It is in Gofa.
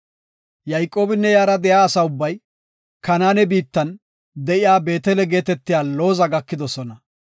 Yayqoobinne iyara de7iya asa ubbay Kanaane biittan de7iya Beetele geetetiya Looza gakidosona.